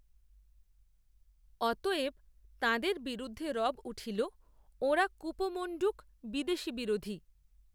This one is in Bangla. অতএব, তাঁদের বিরুদ্ধে রব, উঠল, ওঁরা কুপমণ্ডূক, বিদেশিবিরোধী